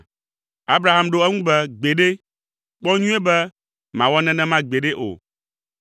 Abraham ɖo eŋu be, “Gbeɖe! Kpɔ nyuie be màwɔ nenema gbeɖe o,